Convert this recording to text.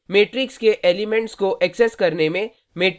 matrix के elements को access करने में